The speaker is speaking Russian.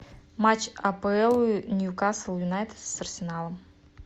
матч апл ньюкасл юнайтед с арсеналом